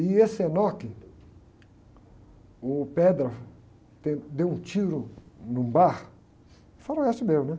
E esse, o, deu, deu um tiro num bar, faroeste mesmo, né?